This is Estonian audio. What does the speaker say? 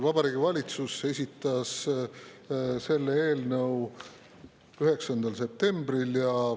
Vabariigi Valitsus esitas selle eelnõu 9. septembril.